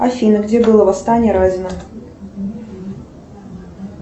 афина где было восстание разина